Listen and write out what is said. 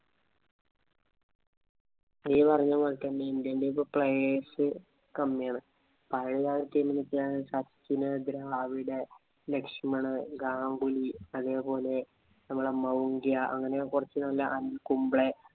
നീ പറഞ്ഞ പോലെ തന്നെ Indian team ഇൽ player's കമ്മിയാണ്. പഴയ സച്ചിന്‍, ദ്രാവിഡ്, ലക്ഷമണ്‍, ഗാംഗുലി, അതേപോലെ നമ്മുടെ , ഇങ്ങനെ കൊറച്ച് പിന്നെ അനില്‍ കുംബ്ലെ